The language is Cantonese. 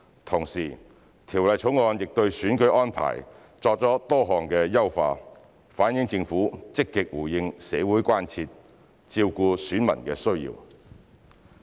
同時，《條例草案》對選舉安排作出多項優化，反映政府積極回應社會關注，照顧選民需要。